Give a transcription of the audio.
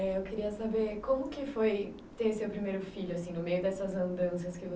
Eu queria saber como que foi ter seu primeiro filho, assim, no meio dessas andanças